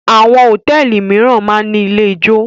Àwọn hòtẹ́ẹ́lì mìíràn máà ń ní ilé-ijó.